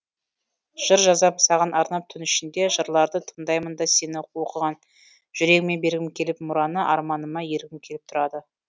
жыр жазам саған арнап түн ішінде жырларды тыңдаймын да сен оқыған жүрегіме бергім келіп мұраны арманыма ергім келіп тұрады